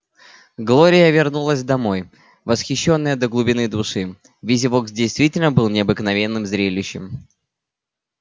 глория вернулась домой восхищённая до глубины души визивокс действительно был необыкновенным зрелищем